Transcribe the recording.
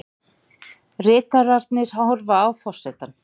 Ritararnir horfa á forsetann.